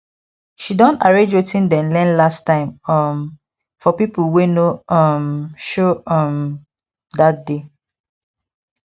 she don arrange wetin dem learn last time um for people wey no um show um that day